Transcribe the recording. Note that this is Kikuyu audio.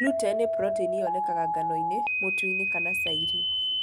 Gluten nĩ proteini yonekaga ngano-inĩ, mutu-inĩ kana cairi.